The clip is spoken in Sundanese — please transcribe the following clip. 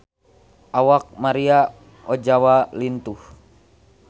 Awak Maria Ozawa lintuh